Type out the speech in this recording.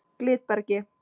Glitbergi